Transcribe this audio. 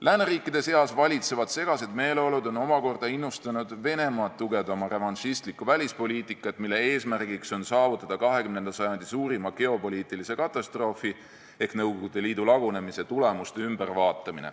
Lääneriikide seas valitsevad segased meeleolud on omakorda innustanud Venemaad tugevdama revanšistlikku välispoliitikat, mille eesmärgiks on saavutada 20. sajandi suurima geopoliitilise katastroofi ehk Nõukogude Liidu lagunemise tulemuste uuesti üle vaatamine.